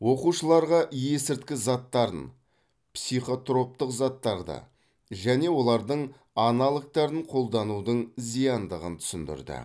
оқушыларға есірткі заттарын психотроптық заттарды және олардың аналогтарын қолданудың зияндығын түсіндірді